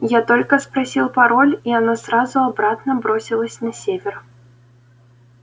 я только спросил пароль и она сразу обратно бросилось на север